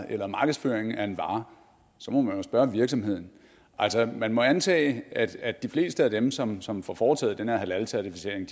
eller markedsføringen af en vare så må man jo spørge virksomheden altså man må antage at at de fleste af dem som som får foretaget den her halalcertificering